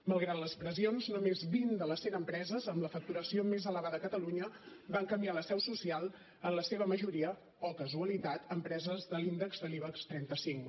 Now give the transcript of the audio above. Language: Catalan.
malgrat les pressions només vint de les cent empreses amb la facturació més elevada a catalunya van canviar la seu social en la seva majoria oh casualitat empreses de l’índex de l’ibex trenta cinc